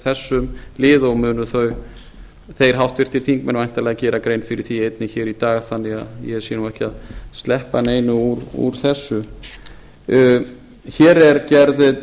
þessum lið og munu þeir háttvirtir þingmenn væntanlega gera grein fyrir því einnig í dag þannig að ég sé ekki að sleppa neinu úr þessu hér er gerð